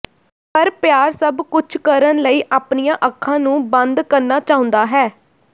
ਪਰ ਪਿਆਰ ਸਭ ਕੁਝ ਕਰਨ ਲਈ ਆਪਣੀਆਂ ਅੱਖਾਂ ਨੂੰ ਬੰਦ ਕਰਨਾ ਚਾਹੁੰਦਾ ਹੈ